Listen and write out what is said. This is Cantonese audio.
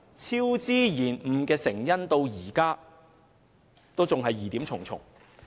超支及延誤的成因至今仍疑點重重。